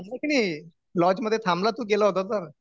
आणि लॉज मध्ये थांबला तू गेला होता तर?